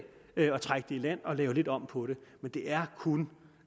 og trække det i land og lave lidt om på det men det er kun